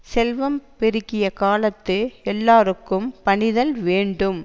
செல்வம் பெருகிய காலத்து எல்லார்க்கும் பணிதல் வேண்டும்